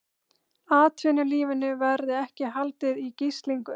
Atvinnulífinu verði ekki haldið í gíslingu